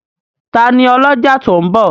Tani ọlọ́jà tó ń bọ̀?